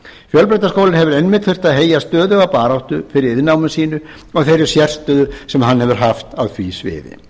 fjölbrautaskólinn hefur einmitt þurft að heyja stöðuga baráttu fyrir iðnnámi sínu og þeirri sérstöðu sem hann hefur haft á því sviði